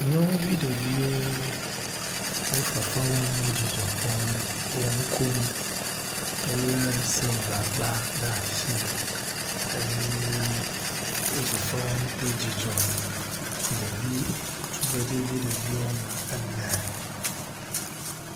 Nyɔnuvi ɖeviwo wo fefe wɔm wo dzidzɔ kpɔm wo nu kom wo le silva gba ɖe asi eye wo fefe wɔm kple dzidzɔ. Ɖevi tugbedzevi ɖevi wɔme ene.